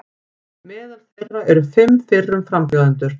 Meðal þeirra eru fimm fyrrum frambjóðendur